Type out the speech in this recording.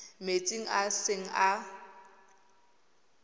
metsing a e seng a